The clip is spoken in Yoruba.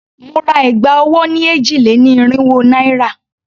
Mo ra ẹ̀gbà ọwọ́ ni èjì-lé-ní-irínwó naira.